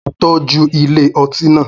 Mo tọ́jú ilé ọtí náà